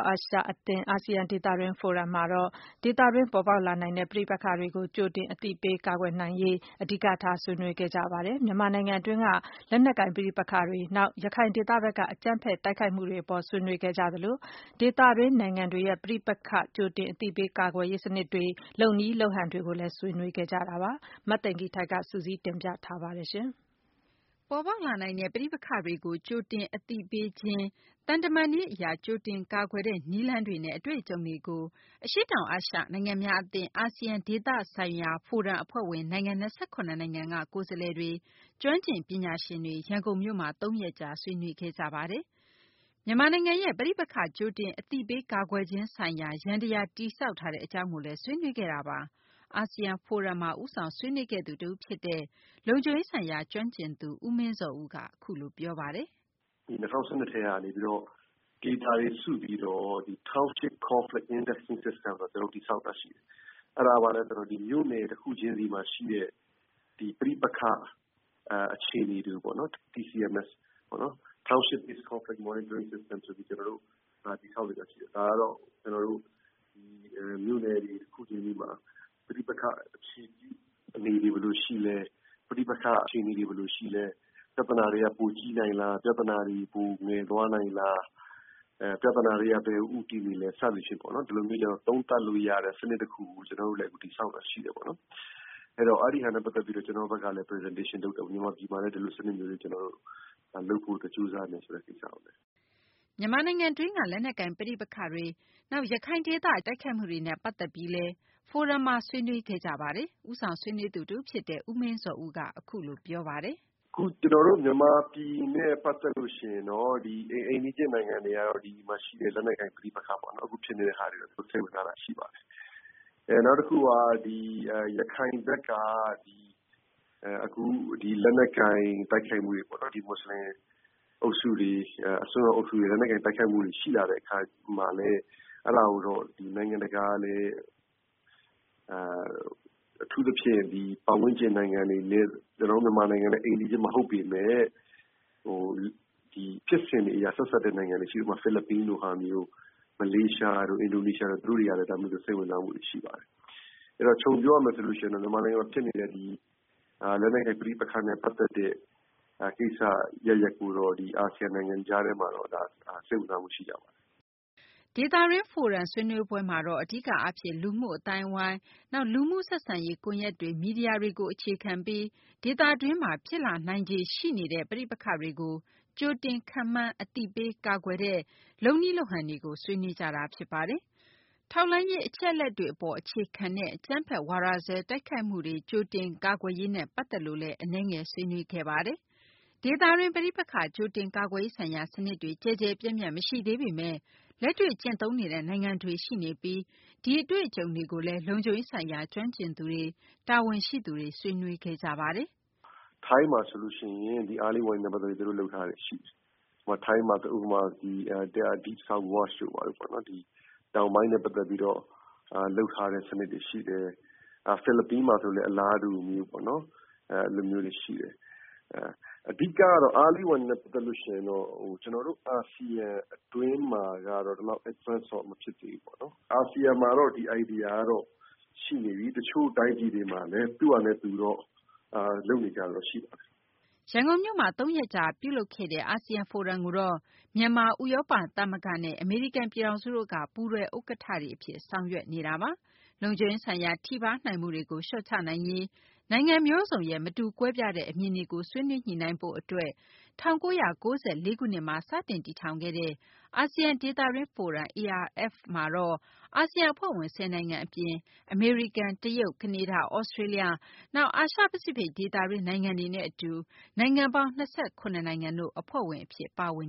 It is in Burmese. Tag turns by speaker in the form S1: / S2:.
S1: အာရှအသင်း အာဆီယံဒေသတွင်း ဖိုရမ်မှာတော့ ဒေသတွင်း ပေါ်ပေါက်လာနိုင်တဲ့ ပဋိပက္ခတွေကို ကြိုတင် အသိအပေး ကာကွယ်နိုင်ရေး အဓိကထား ဆွေးနွေးခဲ့ကြပါတယ်။ မြန်မာနိုင်ငံတွင်းက လက်နက်ကိုင် ပဋိပက္ခတွေ၊ နောက် ရခိုင်ဒေသဘက်က အကြမ်းဖက် တိုက်ခိုက်မှုတွေ အပေါ် ဆွေးနွေးခဲ့ကြသလို ဒေသတွင်း နိုင်ငံတွေရဲ့ ပဋိပက္ခ ကြိုတင် အသိပေး ကာကွယ်ရေး စနစ်တွေ၊ လုပ်နည်းလုပ်ဟန်တွေကိုလည်း ဆွေးနွေးခဲ့ကြတာပါ။ မသိင်္ဂ ီထိုက် စုစည်း တင်ပြထားပါတယ်။ ပေါ်ပေါက်လာနိုင်တဲ့ ပဋိပက္ခတွေကို ကြိုတင် အသိပေးခြင်း၊ သံတမန်နည်း အရ ကြိုတင်ကာကွယ်တဲ့ နည်းလမ်းတွေနဲ့ အတွေ့အကြုံတွေကို အရှေ့တောင် အာရှ နိုင်ငံများ အသင်း အာဆီယံ ဒေသဆိုင်ရာ ဖိုရမ် အဖွဲ့ဝင် နိုင်ငံ ၂၇ နိုင်ငံက ကိုယ်စားလှယ်တွေ၊ ကျွမ်းကျင် ပညာရှင်တွေ ရန်ကုန်မြို့မှာ သုံးရက်ကြာ ဆွေးနွေးခဲ့ကြတာပါ။ မြန်မာနိုင်ငံရဲ့ ပဋိပက္ခကြိုတင် အသိပေး ကာကွယ်ခြင်းဆိုင်ရာ ယန္တယား တည်ဆောက်ထားတဲ့ အကြောင်းကိုလည်း ဆွေးနွေးခဲ့တာပါ။ အာဆီယံ ဖိုရမ်မှာ ဦးဆောင်ဆွေးနွေးခဲ့သူ တဦးဖြစ်တဲ့ လုံခြုံရေးဆိုင်ရာ ကျွမ်းကျင်သူ ဦးမင်းဇော်ဦးက အခုလို ပြောပါတယ်။
S2: “၂၀၁၂ ကတည်းကနေပြီးတော့ data တွေစုပြီးတော့ Township Conflict Monitoring Systemဆိုတာကျနော်တို့ တည်ဆောက်တာရှိတယ်။ အဲဒါက ဘာလဲဆိုတော့ မြို့နယ်တခုချင်းစီမှာ ရှိတဲ့ ပဋိပက္ခအခြေအနေပေါ့နော် TCMS (Township Conflict Monitoring System ) ဆိုပြီးတော့ ကျနော်တို့ တည်ဆောက်တာရှိတယ်။ ဒါကတော့ ကျနော်တို့ မြို့နယ်တွေတခုချင်းစီမှာ ပဋိပက္ခအနေတွေဘယ်လိုရှိသလဲ ၊ ပြဿနာတွေ ပိုကြီးနိုင်သလား၊ ပြဿနာတွေ ပိုငယ်သွားနိုင်သလား ၊ ပြဿနာတွေက ဘယ်ကိုဦးတည်နေသလဲ စသဖြင့်ပေါ့နော် သုံးသပ်လို့ရတဲ့ စနစ်တခုကို ကျနော်တို့တည်ဆောက်တာရှိတယ်ပေါ့နော်။ ဆိုတော့ အဲဒါနဲ့ ပတ်သက်ပြီးတော့ ကျနော်တို့ကလည်း Presentation လုပ်တော့ မြန်မာပြည်မှာလည်း ဒီလိုစနစ်မျိုးတွေ လုပ်ဖို့အတွက်ကြိုးစားနေမယ်ဆိုတဲ့ကိစ္စကိုလည်း
S1: ။” မြန်မာနိုင်ငံတွင်း လက်နက်ကိုင် ပဋိပက္ခတွေ၊ နောက် ရခိုင်ဒေသ အကြမ်းဖက် တိုက်ခိုက်မှုတွေနဲ့ ပတ်သက်ပြီးလည်း ဖိုရမ်မှာ ဆွေးနွေးခဲ့ကြပါတယ်။ ဦးဆောင် ဆွေးနွေးသူ တဦး ဖြစ်တဲ့ ဦးမင်းဇော်ဦးက အခုလို ပြောပါတယ်။
S2: “အခုကျနော်တို့ မြန်မာပြည်နဲ့ ပတ်သက်ရင်တော့ ဒီအိမ်နီးချင်းနိုင်ငံတွေကတော့ ဒီမှာရှိတဲ့ လက်နက်ကိုင် ပဋိပက္ခပေါ့နော် အခုဖြစ်နေတာတွေကို စိတ်ဝင်စားတာရှိပါတယ်။ နောက်တခုက ရခိုင်ဘက်က အခုလက်နက်ကိုင်တိုက်ခိုက်မှုတွေပေါ့နော် ဒီမွတ်စလင်အုပ်စုတွေ အစိုးရအုပ်စုတွေ လက်နက်ကိုင်တိုက်ခိုက်မှုတွေရှိလာတဲ့အခါမှာ အဲဒါကိုတော့ နိုင်ငံတကာကလည်း အထူးသဖြင့် ပတ်ဝန်းကျင်နိုင်ငံနဲ့ ကျနော်တို့ မြန်မာနိုင်ငံနဲ့ အိမ်နီးချင်းမဟုတ်ပေမယ့် ဖြစ်စဉ်အရ ဆက်စပ်တဲ့ နိုင်ငံတွေရှိတယ်၊ ဥပမာ ဖိလစ်ပိုင်နိုင်ငံ ၊ မလေးရှားတို့၊ အင်ဒိုနီးရှားတို့ ဒါမျိုးတွေကိုလည်း သူတို့တွေ စိတ်ဝင်စားမှုရှိပါတယ်။ အဲဒီတော့ ခြုံပြောရမယ်ဆိုရင်တော့ မြန်မာနိုင်ငံမှာ ဖြစ်နေတဲ့ လက်နက်ကိုင် ပဋိပက္ခနဲ့ ကိစ္စအရပ်ရပ်ကိုတော့ အာဆီယံနိုင်ငံ အကြားထဲမှာတော့ စိတ်ဝင်စားမှုရှိကြပါတယ်။”
S1: ဒေသတွင်း ဖိုရမ် ဆွေးနွေးပွဲမှာတော့ အဓိက အားဖြင့် လူမှုအသိုင်းအဝိုင်း၊ နောက် လူမှုဆက်ဆံရေး ကွန်ယက်တွေ၊ မီဒီယာတွေကို အခြေခံပြီး ဒေသတွင်းမှာ ဖြစ်လာနိုင်ခြေ ရှိနေတဲ့ ပဋိပက္ခတွေကို ကြိုတင် ခန့်မှန်းပြီး အသိပေး ကာကွယ်ရေးနဲ့ လုပ်နည်း လုပ်ဟန်တွေကို ဆွေးနွေးကြတာပါ။ ထောက်လှမ်းရေး အချက်အလက်တွေ အပေါ် အခြေခံတဲ့ အကြမ်းဖက် ဝါဒစွဲ တိုက်ခိုက်မှုတွေ ကြိုတင်ကာကွယ်ရေးနဲ့ ပတ်သက်လို့လည်း အနည်းငယ် ဆွေးနွေးခဲ့ကြပါတယ်။ ဒေသတွင်း ပဋိပက္ခ ကြိုတင် ကာကွယ်ရေးဆိုင်ရာ စနစ်တွေ ကျယ်ကျယ်ပြန့်ပြန့် မရှိသေးပေမယ့် လက်တွေ့ ကျင့်သုံးနေတဲ့ နိုင်ငံတွေလည်း ရှိနေပြီး ဒီအတွေ့အကြုံတွေကိုလည်း လုံခြုံရေးဆိုင်ရာ ကျွမ်းကျင်သူတွေ၊ တာဝန်ရှိသူတွေ ဆွေးနွေးခဲ့ကြပါတယ်။
S2: “ထိုင်းမှာဆိုရင် Early warning နဲ့ ပတ်သက်ပြီး သူတို့လုပ်ထားတာတွေရှိတယ်။ ထိုင်းမှာ ဥပမာ-Deep South Watch တို့ပေါ့နော် တောင်ပိုင်းနဲ့ ပတ်သက်ပြီးတော့ လုပ်ထားတဲ့ စနစ်တွေရှိတယ်။ ဖိလစ်ပိုင်မှာဆိုရင်လည်း အလားတူပေါ့နော် အဲလိုမျိုးတွေရှိတယ်။ အဓိကတော့ Early warning နဲ့ ပတ်သက်ပြီး ကျနော်တို့ အာဆီယံအတွင်းမှာကတော့ ဒီလောက် Advance တော့ မဖြစ်သေးဘူးပေါ့နော်။ အာဆီယံမှာတော့ ဒီ idea တွေတော့ရှိနေပြီ တချို့တိုင်းပြည်မှာလည်း သူ့ဟာနဲ့ သူတော့ လုပ်နေကြတာတော့ ရှိပါတယ်
S1: ။” ရန်ကုန်မြို့မှာ သုံးရက်ကြာ ပြုလုပ်ခဲ့တဲ့ အာဆီယံ ဖိုရမ်ကိုတော့ မြန်မာ၊ ဥရောပ သမဂ္ဂနဲ့ အမေရိကန် ပြည်ထောင်စုတို့က ပူးတွဲ ဥက္ကဌတွေ အဖြစ် ဆောင်ရွက်နေတာပါ။ လုံခြုံရေးဆိုင်ရာ ထိပါးနိုင်မှုတွေကို လျှော့ချရေး နိုင်ငံမျိုးစုံရဲ့ မတူကွဲပြားတဲ့ အမြင်တွေကို ဆွေးနွေးညှိနှိုင်းဖို့ အတွက် ၁၉၉၄ ခုနှစ်မှာ စတင် တည်ထောင်ခဲ့တဲ့ အာဆီယံ ဒေသတွင်း ဖိုရမ် ARF မှာတော့ အာဆီယံ အဖွဲ့ဝင် ၁၀ နိုင်ငံ အပြင် အမေရိကန်၊ တရုတ်၊ ကနေဒါ၊ သြစတေးလျ၊ နောက် အာရှ ပစိဖိတ်ဒေသတွင်း နိုင်ငံတွေနဲ့ အတူ နိုင်ငံပေါင်း ၂၇ နိုင်ငံ အဖွဲ့ဝင် အဖြစ် ပါဝင်